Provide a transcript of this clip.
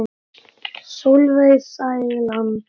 Sólveig Sæland.